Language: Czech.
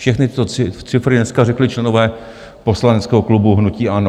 Všechny tyto cifry dneska řekli členové poslaneckého klubu hnutí ANO.